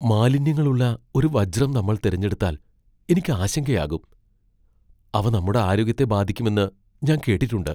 മാലിന്യങ്ങളുള്ള ഒരു വജ്രം നമ്മൾ തിരഞ്ഞെടുത്താൽ എനിക്ക്ആശങ്കയാകും . അവ നമ്മുടെ ആരോഗ്യത്തെ ബാധിക്കുമെന്ന് ഞാൻ കേട്ടിട്ടുണ്ട് .